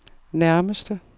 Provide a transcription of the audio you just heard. nærmeste